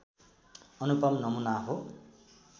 अनुपम नमुना हो।